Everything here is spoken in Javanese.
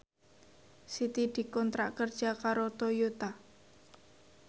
Siti dikontrak kerja karo Toyota